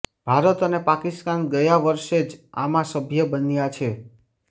ભારત અને પાકિસ્તાન ગયા વર્ષે જ આમાં સભ્ય બન્યા છે